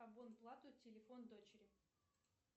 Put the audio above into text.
плату телефон дочери